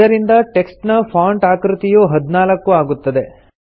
ಇದರಿಂದ ಟೆಕ್ಸ್ಟ್ ನ ಫಾಂಟ್ ಆಕೃತಿಯು 14 ಆಗುತ್ತದೆ